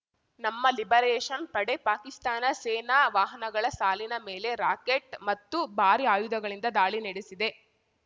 ನಮ್ಮ ಲಿಬರೇಷನ್ ಪಡೆ ಪಾಕಿಸ್ತಾನ ಸೇನಾ ವಾಹನಗಳ ಸಾಲಿನ ಮೇಲೆ ರಾಕೆಟ್ ಮತ್ತು ಬಾರಿ ಆಯುಧಗಳಿಂದ ದಾಳಿ ನೆಡೆಸಿದೆ